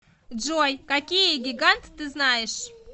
джой какие гигант ты знаешь